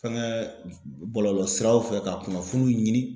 Fɛnkɛ bɔlɔlɔsiraw fɛ ka kunnafoniw ɲini.